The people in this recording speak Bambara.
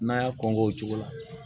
N'a y'a kɔn k'o cogo la